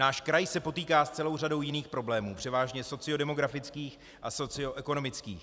Náš kraj se potýká s celou řadou jiných problémů, převážně sociodemografických a socioekonomických.